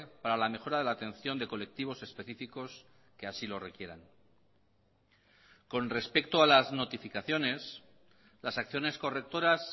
para la mejora de la atención de colectivos específicos que así lo requieran con respecto a las notificaciones las acciones correctoras